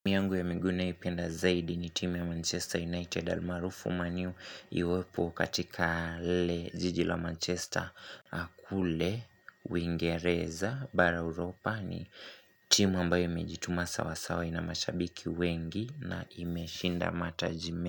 Timu yangu ya migui ninayoipenda zaidi ni timu ya Manchester United almaarufu man u iwepo katika lile jiji la Manchester kule, uingereza, bara Europa ni timu ambayo imejituma sawasawa na mashabiki wengi na imeshinda mataji me.